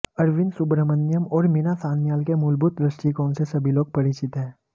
अरविंद सुब्रह्मण्यम और मीरा सान्याल के मूलभूत दृष्टिकोण से सभी लोग परिचित हैं